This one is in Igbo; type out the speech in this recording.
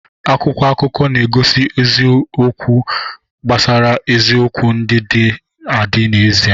Akwụkwọ akụkọ na-egosi ozi eziokwu gbasara isiokwu ndị dị adị n'ezie.